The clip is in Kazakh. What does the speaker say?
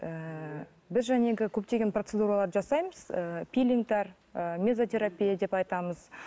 ііі біз көптеген процедураларды жасаймыз ііі пилингтер і мезотерапия деп айтамыз